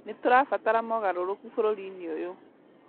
Nĩtũrabatara mogarũrũku bũrũri-inĩ ũyũ